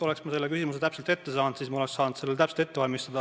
Oleks ma selle küsimuse varem teada saanud, siis ma oleks saanud täpselt ette valmistada.